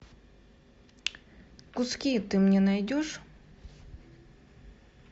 куски ты мне найдешь